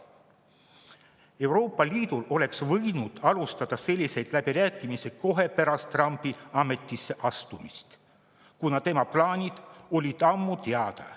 Euroopa Liit oleks võinud alustada selliseid läbirääkimisi kohe pärast Trumpi ametisse astumist, kuna tema plaanid olid ammu teada.